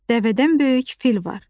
Dəvədən böyük fil var.